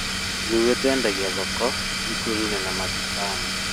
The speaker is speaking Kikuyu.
Ithuĩ twendagia thoko, thukuru-inĩ na matuka-inĩ